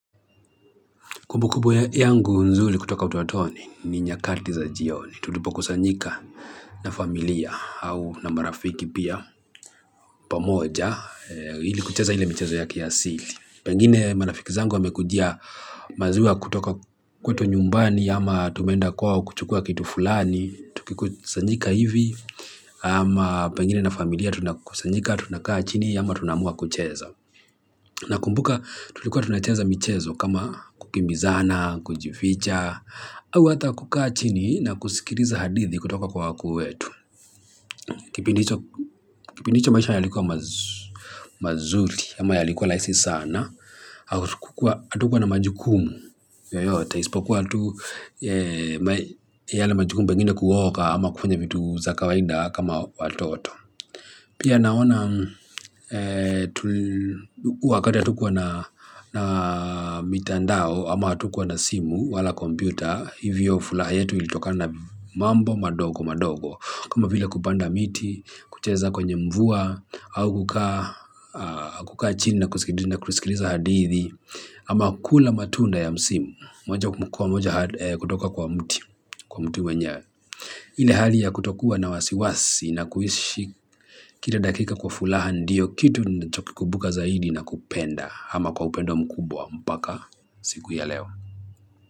Kumbukumbu yangu nzuri kutoka utotoni ni nyakati za jioni. Tulipo kusanyika na familia au na marafiki pia pamoja. Ili kucheza ile michezo yake ya asili. Pengine marafiki zangu wamekujia maziwa kutoka kwetu nyumbani ama tumeenda kwao kuchukua kitu fulani. Tukikusanyika hivi ama pengine na familia tunakusanyika tunakaa chini ama tunamua kucheza. Na kumbuka tulikuwa tunacheza michezo kama kukimbizana, kujificha, au hata kukachini na kusikiliza hadithi kutoka kwa waku wetu. Kipindi hicho maisha yalikuwa mazuri, ama yalikuwa rahisi sana, hatukuwa na majukumu yoyote. Isipokua tu yale majukumu pengine kuoga ama kufanya vitu za kawaida kama watoto. Pia naona wakati hatukua na mitandao ama hatukua na simu wala kompyuta, hivyo furaha yetu ilitokana na mambo madogo madogo. Kama vile kupanda miti, kucheza kwenye mvua, au kukaa chini na kusikiliza hadithi, ama kula matunda ya msimu, moja kwa moja kutoka kwa mti, kwa mti wenye. Ile hali ya kutokuwa na wasiwasi na kuishi kila dakika kwa furaha ndio kitu ninachoki kumbuka zaidi na kupenda ama kwa upendo mkubwa mpaka siku ya leo.